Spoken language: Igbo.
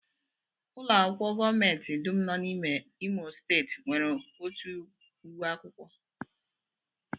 Ụlọakwụkwọ gọọmenti dum nọ n'Imo steeti nwere otu uwe akwụkwọ